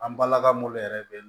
An balaka munnu yɛrɛ be yen